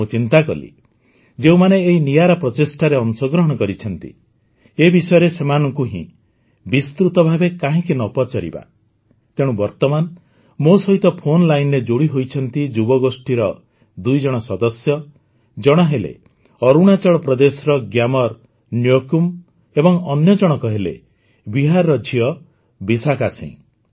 ମୁଁ ଚିନ୍ତାକଲି ଯେଉଁମାନେ ଏହି ନିଆରା ପ୍ରଚେଷ୍ଟାରେ ଅଂଶଗ୍ରହଣ କରିଛନ୍ତି ଏ ବିଷୟରେ ସେମାନଙ୍କୁ ହିଁ ବିସ୍ତୃତ ଭାବେ କାହିଁକି ନ ପଚାରିବା ତେଣୁ ବର୍ତମାନ ମୋ ସହିତ ଫୋନ୍ ଲାଇନ୍ରେ ଯୋଡ଼ି ହୋଇଛନ୍ତି ଯୁବଗୋଷ୍ଠୀର ଦୁଇ ଜଣ ସଦସ୍ୟ ଜଣେ ହେଲେ ଅରୁଣାଚଳ ପ୍ରଦେଶର ଗ୍ୟାମର୍ ନ୍ୟୋକୁମ୍ ଏବଂ ଅନ୍ୟଜଣକ ହେଲେ ବିହାରର ଝିଅ ବିଶାଖା ସିଂ